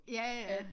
Ja ja